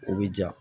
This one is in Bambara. O bɛ diya